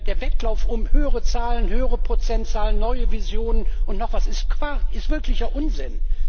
Der Wettlauf um höhere Zahlen, höhere Prozentzahlen, neue Visionen und noch was, ist Quark, ist wirklicher Unsinn.